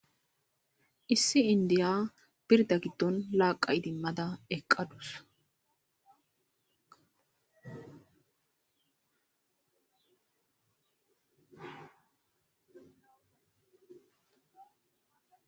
issi indiya birda giddon laaqa idimmada eqqadus